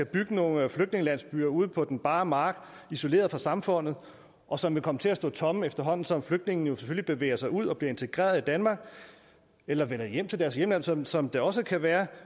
bygge nogle flygtningelandsbyer ude på den bare mark isoleret fra samfundet og som vil komme til at stå tomme efterhånden som flygtningene selvfølgelig bevæger sig ud og bliver integreret i danmark eller vender hjem til deres hjemland som som det også kan være